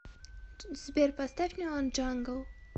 сбер поставь неон джангл